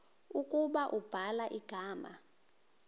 ukuba ubhala igama